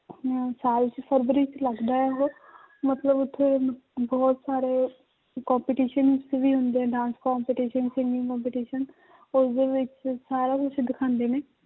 ਸਾਲ 'ਚ ਫਰਵਰੀ 'ਚ ਲੱਗਦਾ ਹੈ ਉਹ ਮਤਲਬ ਉੱਥੇ ਬਹੁਤ ਸਾਰੇ competitions ਵੀ ਹੁੰਦੇ dance competition, singing competition ਉਸਦੇ ਵਿੱਚ ਸਾਰਾ ਕੁਛ ਦਿਖਾਉਂਦੇ ਨੇ